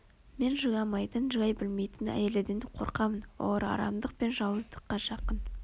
мен жыламайтын жылай білмейтін әйелдерден қорқамын олар арамдық пен жауыздыққа жақын